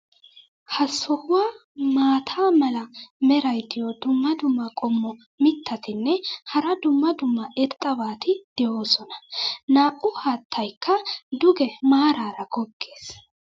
ha sohuwan maata mala meray diyo dumma dumma qommo mitattinne hara dumma dumma irxxabati de'oosona. Naa'u haattaykka duge maaraara goggees.